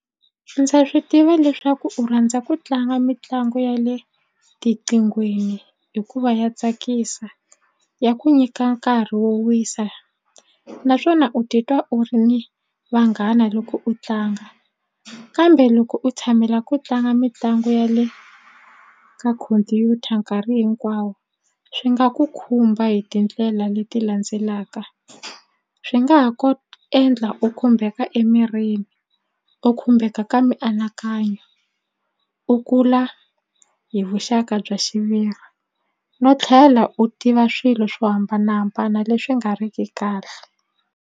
Ndza swi tiva leswaku u rhandza ku tlanga mitlangu ya le tiqinghweni hikuva ya tsakisa ya ku nyika nkarhi wo wisa naswona u titwa u ri ni vanghana loko u tlanga kambe loko u tshamela ku tlanga mitlangu ya le ka khompyuta nkarhi hinkwawo swi nga ku khumba hi tindlela leti landzelaka swi nga ha endla u khumbeka emirini u khumbeka ka mianakanyo u kula hi vuxaka bya xiviri no tlhela u tiva swilo swo hambanahambana leswi nga ri ki kahle.